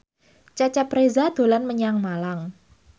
Cecep Reza dolan menyang Malang